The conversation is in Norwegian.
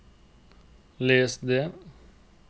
les det